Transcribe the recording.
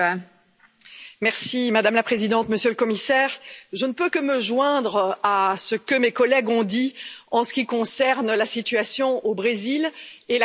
Madame la Présidente, Monsieur le Commissaire, je ne peux que me joindre à ce que mes collègues ont dit en ce qui concerne la situation au Brésil et la question de la déforestation.